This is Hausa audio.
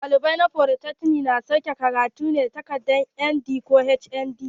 Ɗalibai na folytekni na sauke karatu ne da takadar ND ko HND.